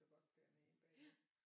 Og godt dernede bagved